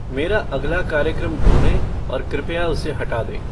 मेरा अगला कार्यक्रम ढूंढें और कृपया उसे हटा दें